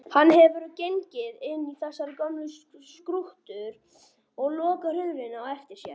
Hann hefur gengið inn í þessar gömlu skruddur og lokað hurðinni á eftir sér.